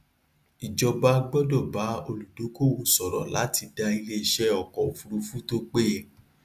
ìjọba gbọdọ bá olùdókòwò sọrọ láti dá ilé iṣẹ ọkọ òfurufú tó péye